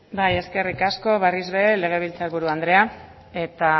eskerrik asko berriz ere legebiltzar buru andrea eta